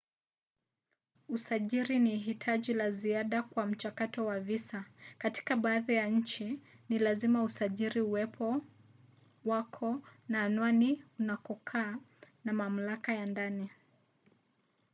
usajili ni hitaji la ziada kwa mchakato wa visa. katika baadhi ya nchi ni lazima usajili uwepo wako na anwani ya unakokaa na mamlaka ya ndani